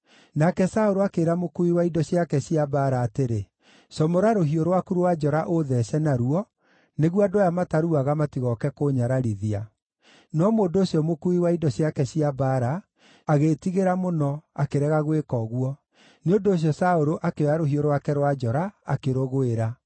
Nake Saũlũ akĩĩra mũkuui wa indo ciake cia mbaara atĩrĩ, “Comora rũhiũ rwaku rwa njora ũũthece naruo, nĩguo andũ aya mataruaga matigooke kũnyararithia.” No mũndũ ũcio mũkuui wa indo ciake cia mbaara agĩĩtigĩra mũno, akĩrega gwĩka ũguo; nĩ ũndũ ũcio Saũlũ akĩoya rũhiũ rwake rwa njora, akĩrũgwĩra.